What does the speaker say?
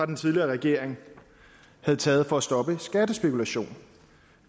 den tidligere regering havde taget for at stoppe skattespekulation